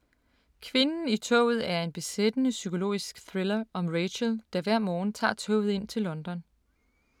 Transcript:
Kvinden i toget er en besættende psykologisk thriller om Rachel, der hver morgen tager toget ind til London.